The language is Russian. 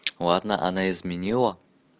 ладно она изменила